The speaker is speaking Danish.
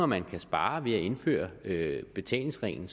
man kan spare ved at indføre betalingsringen